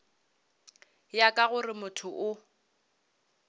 ya ka gore motho o